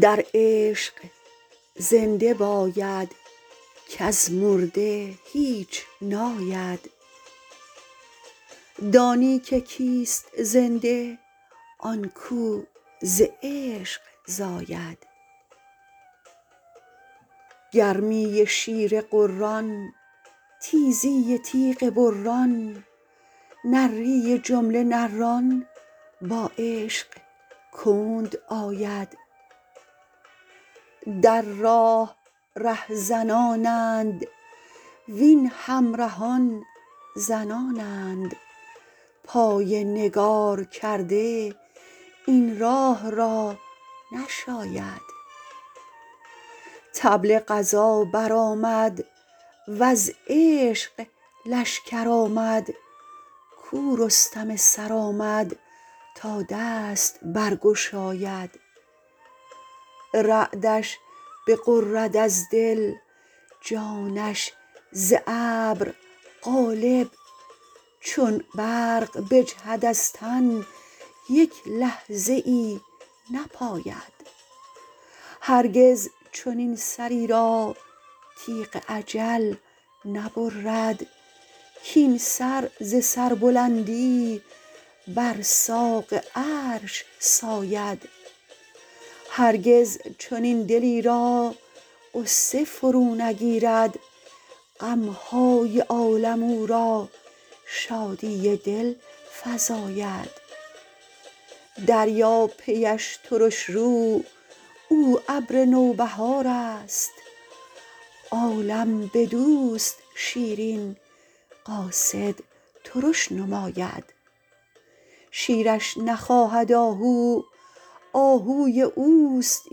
در عشق زنده باید کز مرده هیچ ناید دانی که کیست زنده آن کو ز عشق زاید گرمی شیر غران تیزی تیغ بران نری جمله نران با عشق کند آید در راه رهزنانند وین همرهان زنانند پای نگارکرده این راه را نشاید طبل غزا برآمد وز عشق لشکر آمد کو رستم سرآمد تا دست برگشاید رعدش بغرد از دل جانش ز ابر قالب چون برق بجهد از تن یک لحظه ای نپاید هرگز چنین سری را تیغ اجل نبرد کاین سر ز سربلندی بر ساق عرش ساید هرگز چنین دلی را غصه فرو نگیرد غم های عالم او را شادی دل فزاید دریا پیش ترش رو او ابر نوبهارست عالم بدوست شیرین قاصد ترش نماید شیرش نخواهد آهو آهوی اوست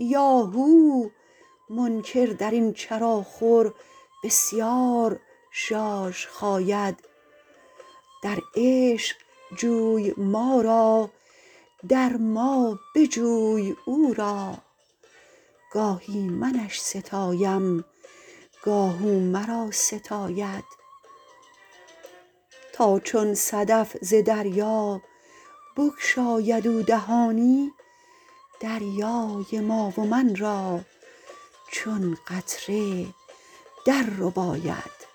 یاهو منکر در این چراخور بسیار ژاژ خاید در عشق جوی ما را در ما بجوی او را گاهی منش ستایم گاه او مرا ستاید تا چون صدف ز دریا بگشاید او دهانی دریای ما و من را چون قطره دررباید